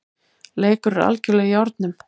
Leikur er algerlega í járnum